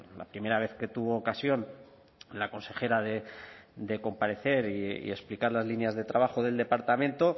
la primera vez que tuvo ocasión la consejera de comparecer y explicar las líneas de trabajo del departamento